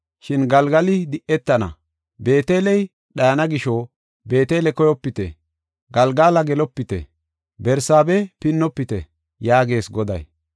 Shin Galgali di7etana; Beeteley dhayana gisho, Beetele koyopite; Galgala gelopite. Barsaabe pinnofite” yaagees Goday.